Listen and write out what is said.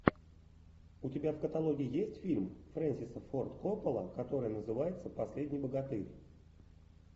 у тебя в каталоге есть фильм фрэнсиса форд коппола который называется последний богатырь